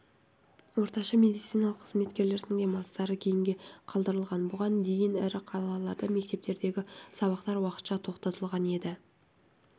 орташа медициналық қызметкерлердің демалыстары кейінге қалдырылған бұған дейін ірі қалаларда мектептердегі сабақтар уақытша тоқтатылған еді